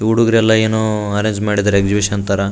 ಹುಡಗ್ರೆಲ್ಲಾ ಏನೋ ಅರೆಂಜ ಮಾಡಿದ್ದಾರೆ ಎಕ್ಸಿಬಿಷನ್ ತರಾ --